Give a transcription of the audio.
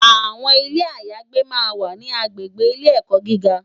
Awòn Ilé àyágbé mà n wá ni àgbégbé Ilé èkò gigá